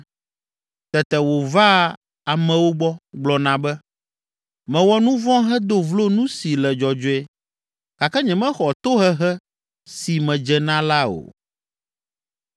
Tete wòvaa amewo gbɔ, gblɔna be, ‘Mewɔ nu vɔ̃ hedo vlo nu si le dzɔdzɔe gake nyemexɔ tohehe si medze na la o.